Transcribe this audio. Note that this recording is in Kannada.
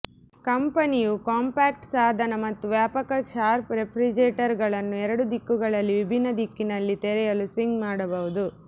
ಕಂಪೆನಿಯು ಕಾಂಪ್ಯಾಕ್ಟ್ ಸಾಧನ ಮತ್ತು ವ್ಯಾಪಕ ಶಾರ್ಪ್ ರೆಫ್ರಿಜರೇಟರ್ಗಳನ್ನು ಎರಡು ದಿಕ್ಕುಗಳಲ್ಲಿ ವಿಭಿನ್ನ ದಿಕ್ಕಿನಲ್ಲಿ ತೆರೆಯಲು ಸ್ವಿಂಗ್ ಮಾಡಬಹುದು